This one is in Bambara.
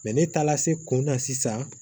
ne taara se kun na sisan